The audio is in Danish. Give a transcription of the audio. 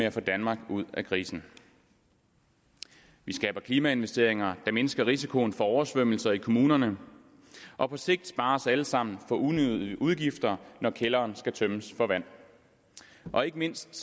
at få danmark ud af krisen vi skaber klimainvesteringer der mindsker risikoen for oversvømmelser i kommunerne og på sigt sparer os alle sammen for unødige udgifter når kælderen skal tømmes for vand og ikke mindst